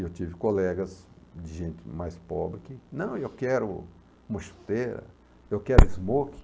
E eu tive colegas de gente mais pobre que, não, eu quero uma chuteira, eu quero smoke.